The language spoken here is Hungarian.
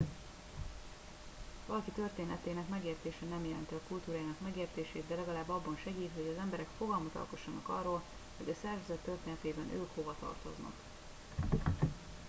valaki történetének megértése nem jelenti a kultúrájának megértését de legalább abban segít hogy az emberek fogalmat alkossanak arról hogy a szervezet történetében ők hova tartoznak